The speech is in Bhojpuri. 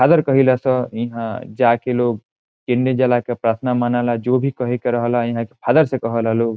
फादर कहिला स यहां ईहा जाके लोग जला के प्रार्थना मनाला जो भी कहे के रहला फादर से कहाला लोग।